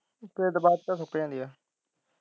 ਹਾਂ ਫੇਰ ਤਾ ਬਾਅਦ ਵਿੱਚ ਸੌਂਕ ਜਾਂਦੀ ਹੈ।